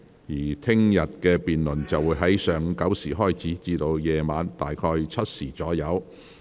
明天的辯論會在上午9時開始，晚上7時左右暫停。